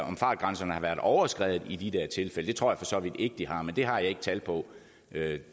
om fartgrænserne har været overskredet i de der tilfælde det tror jeg for så vidt ikke de har men det har jeg ikke tal på